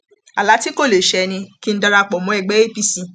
àlá tí kò lè ṣẹ ni kí n dara pọ mọ ẹgbẹ apc